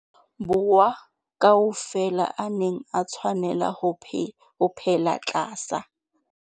Borwa ka ofela a neng a tshwanela ho phela tlasa.